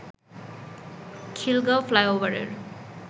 খিলগাঁও ফ্লাইওভারের